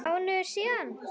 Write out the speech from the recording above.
Mánuður síðan?